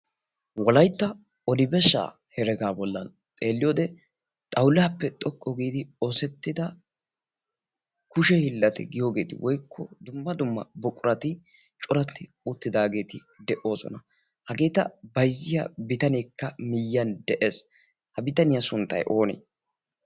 wolaitta odibeshsha heragaa bollan xeelliyoode xaulaappe xoqqu giidi oosettida kushe hillati giyoogeeti woikko dumma dumma buqurati coratti uttidaageeti de7oosona. hageeta baizziya bitaneekka miyyan de7ees. ha bitaniyaa sunttai oone?